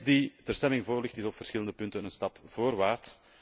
De tekst die ter stemming voorligt is op verschillende punten een stap voorwaarts.